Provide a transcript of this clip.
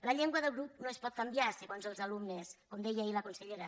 la llengua del grup no es pot canviar segons els alumnes com deia ahir la consellera